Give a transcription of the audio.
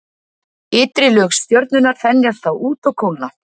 Ytri lög stjörnunnar þenjast þá út og kólna.